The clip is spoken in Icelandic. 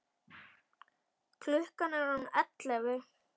Klukkan er orðin ellefu.